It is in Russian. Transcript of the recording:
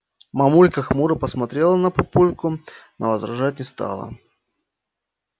мамулька хмуро посмотрела на папульку но возражать не стала